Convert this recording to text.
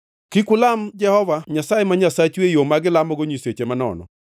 Kik ulam Jehova Nyasaye ma Nyasachu e yo ma gilamogo nyiseche manono.